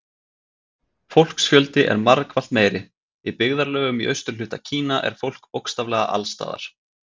Fólksfjöldi er margfalt meiri Í byggðarlögum í austurhluta Kína er fólk bókstaflega alls staðar.